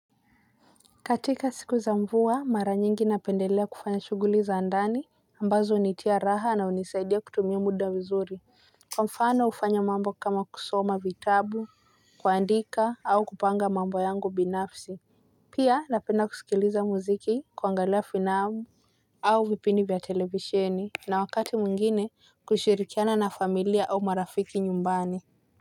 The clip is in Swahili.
Katika siku za mvua mara nyingi napendelea kufanya shuguli za andani ambazo unitia raha na unisaidia kutumia muda vizuri. Kwa mfano ufanya mambo kama kusoma vitabu kwaandika au kupanga mambo yangu binafsi. Pia napenda kusikiliza muziki kuangalia finabu. Au vipindi vya televisheni na wakati muingine kushirikiana na familia au marafiki nyumbani.